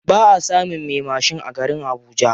Baʼa samun me mashin a garin habuja.